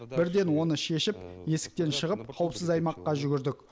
бірден оны шешіп есіктен шығып қауіпсіз аймаққа жүгірдік